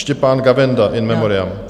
Štěpán Gavenda, in memoriam.